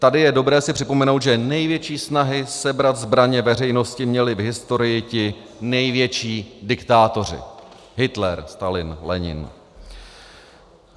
Tady je dobré si připomenout, že největší snahy sebrat zbraně veřejnosti měli v historii ti největší diktátoři: Hitler, Stalin, Lenin.